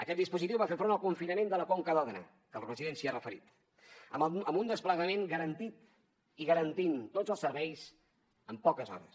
aquest dispositiu va fer front al confinament de la conca d’òdena que el president s’hi ha referit amb un desplegament garantit i garantint tots els serveis en poques hores